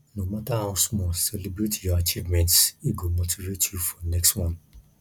no matter how small celebrate your achievements e go motivate you for next one